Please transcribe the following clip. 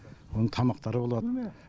оның тамақтары болады